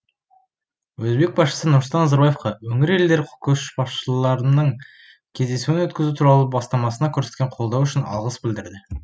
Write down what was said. өзбек басшысы нұрсұлтан назарбаевқа өңір елдері көшбасшыларының кездесуін өткізу туралы бастамасына көрсеткен қолдауы үшін алғыс білдірді